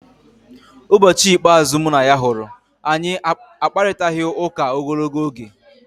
Ụbọchị ikpeazụ mụ na ya hụrụ, anyị akparịtaghị ụka ogologo oge.